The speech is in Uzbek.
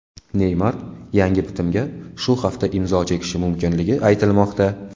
Neymar yangi bitimga shu hafta imzo chekishi mumkinligi aytilmoqda.